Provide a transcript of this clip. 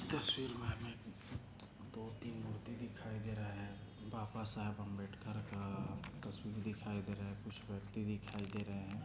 इस तस्वीर मे हमे दो तीन मूर्ति दिखाई दे रहा हैं बाबासाहेब आंबेडकर का तस्वीर दिखाई दे रहा कुछ व्यक्ति दिखाई दे रहे है।